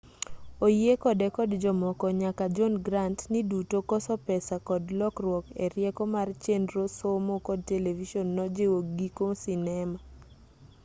oyie kode kod jomoko nyaka john grant ni duto koso pesa kod lokruok erieko mar chenro somo kod televison nojiwo giko sinema